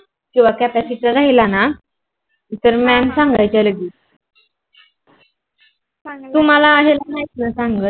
कीव्हा काता शीता राहिलं न तर mam सांगाय तुम्हाला काहीच नाही सांग